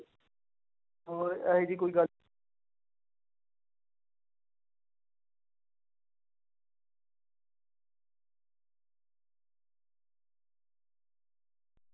ਹੋਰ ਇਹ ਜਿਹੀ ਕੋਈ ਗੱਲ।